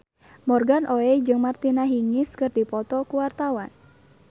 Morgan Oey jeung Martina Hingis keur dipoto ku wartawan